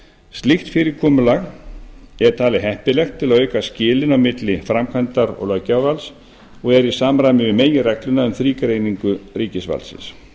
slíkt fyrirkomulag er talið heppilegt til að auka skilin á milli framkvæmdar og löggjafarvalds og er í samræmi við meginregluna um þrígreiningu ríkisvaldsins